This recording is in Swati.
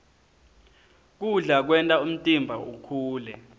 kudla kwenta umtimba ukhule